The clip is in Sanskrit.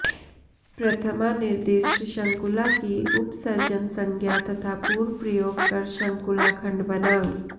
प्रथमानिर्दिष्ट शङ्कुला की उपसर्जनसंज्ञा तथा पूर्वप्रयोग कर शङ्कुलाखण्ड बना